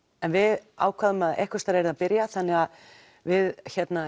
en við ákváðum að einhvers staðar yrði að byrja þannig að við